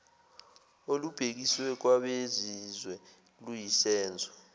olubhekiswe kwabezizwe luyisenzo